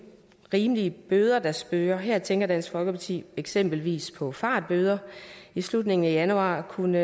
rimelige bøder der spøger her tænker dansk folkeparti eksempelvis på fartbøder i slutningen af januar kunne